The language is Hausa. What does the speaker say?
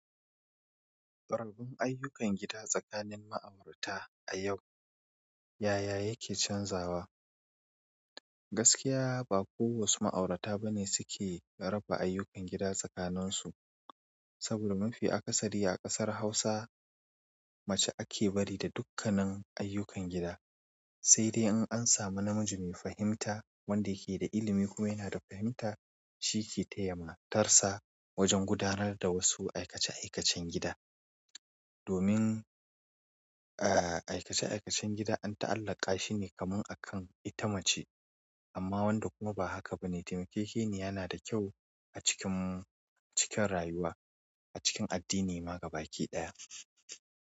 Rarrabin ayyukan gida tsakanin ma'aurata a yau, yaya yake canzawa? Gaskiya ba kowasu ma'aurata ba ne suke raba ayyukan gida tsakanin su. Saboda mafi akasari a ƙasar Hausa, mace ake bari da dukkanin ayyukan gida. Sai dai in an samu na miji mai fahimta wanda yake da ilimi kuma ya na da fahimta shi ke taya matarsa wajen gudanar da wasu aikace-aikacen gida. Domin, aa aikace aikacen gida an ta'allaka shi ne kaman akan ita mace. Amma wanda kuma ba haka ba ne, taimakeke ne yana da kyau a cikin, cikin rayuwa, a cikin addini ma gabakiɗaya.